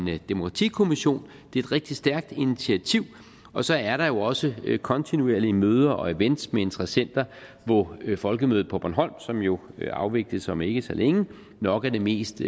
demokratikommission det er et rigtig stærkt initiativ og så er der jo også kontinuerlige møder og events med interessenter hvor folkemødet på bornholm som jo afvikles om ikke så længe nok er det mest